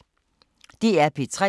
DR P3